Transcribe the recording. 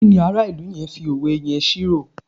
kíni ara ilu yẹn fi òwe yẹn ṣírò